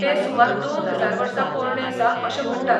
तें सुमार दोन हजार वर्सां पोरणें आसा अशें म्हणटात.